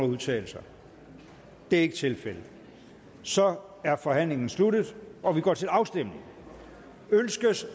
udtale sig det er ikke tilfældet så er forhandlingen sluttet og vi går til afstemning